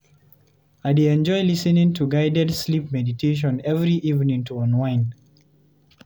I dey enjoy lis ten ing to guided sleep meditation every evening to unwind.